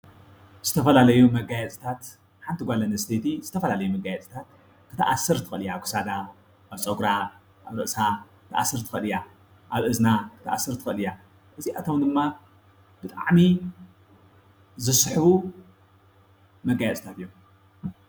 ዝተፈላለዩ መጋየፅታት-ሓንቲ ንጓል ኣንስተይቲ ዝተፈላለዩ መጋየፅታት ክትኣስር ትኽእል እያ፡፡ ኣብ ክሳዳ፣ ኣብ ፀጉራ፣ ኣብ ርእሳ ክትኣስር ትኽእል እያ፤ ኣብ እዝና ክትኣስር ትኽእል እያ፡፡ እዚኣቶም ድማ ብጣዕሚ ዝስሕቡ መጋየፅታት እዮም፡፡